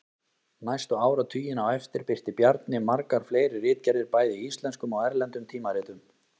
Næstu áratugina á eftir birti Bjarni margar fleiri ritgerðir bæði í íslenskum og erlendum tímaritum.